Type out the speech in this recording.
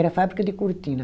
Era fábrica de cortina.